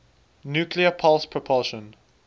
nuclear pulse propulsion